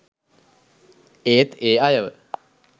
ඒත් ඒ අයව